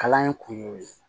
Kalan in kun y'o ye